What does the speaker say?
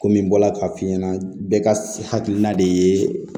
Komi n bɔra k'a f'i ɲɛna bɛɛ ka hakilina de ye